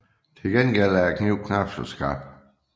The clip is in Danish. Til gengæld er kniven knapt så skarp